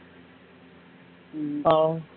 ஆஹ்